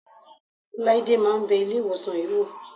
Láídé máa ń bẹ Ilé-ìwòsàn yìí wò.